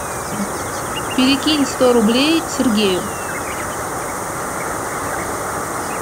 перекинь сто рублей сергею